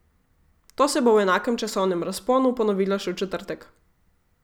To se bo v enakem časovnem razponu ponovilo še v četrtek.